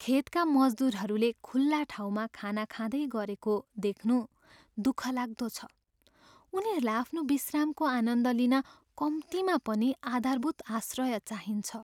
खेतका मजदुरहरूले खुल्ला ठाउँमा खाना खाँदै गरेको देख्नु दुःखलाग्दो छ। उनीहरूलाई आफ्नो विश्रामको आनन्द लिन कम्तीमा पनि आधारभूत आश्रय चाहिन्छ।